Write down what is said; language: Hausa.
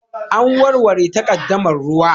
An warware takaddamar ruwa